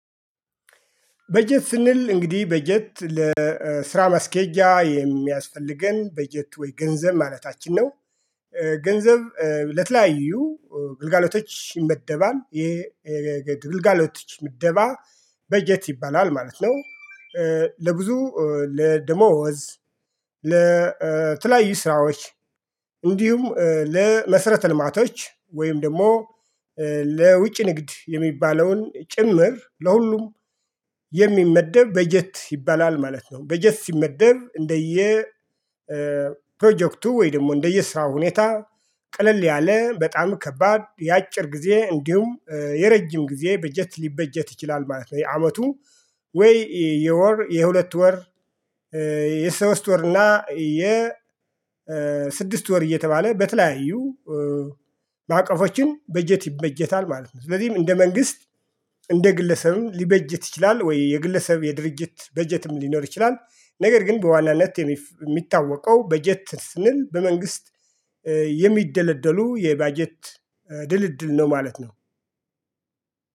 በጀት ስንል እንግዲህ በጀት ለስራ መስኬጃ የሚያስፈልገን በጀት ወይ ገንዘብ ማለታችን ነው። ገንዘብ ለተለያዩ ግልጋሎቶች ይመደባል የግልጋሎቶች ምድባ በጀት ይባላል ማለት ነው። ለብዙ ለደሞዝ ለተለያዩ ስራዎች እንዲሁም ለመሰረተ ልማቶች ወይም ደግሞ ለውጭ ንግድ የሚባለውን ጭምር ለሁሉም የሚመደብ በጀት ይባላል ማለት ነው። በጀት ሲመደብ እንደየ ፕሮጀክቱ ወይ ደግሞ እንደየስራው ሁኔታ ቅልል ያለ በጣም ከባድ የአጭር ጊዜ እንዲሁም የረጅም ጊዜ በጀት ሊበጀት ይችላል ማለት ነው። የአመቱ ወይ የወር የሁለት ወር የሶስት ወር እና የ ስድስት ወር እየተባለ በተለያዩ በአቀፎችን በጀት ይበጀታል ማለት ነው። ስለዚህም እንደ መንግስት እንደ ግለሰብም ሊበጀት ይችላል ወይ የግለሰብ የድርጅት በጀትም ሊኖር ይችላል። ነገር ግን በዋናነት የሚታወቀው በጀት ስንል በመንግስት የሚደለደሉ የባጀት ድልድል ነው ማለት ነው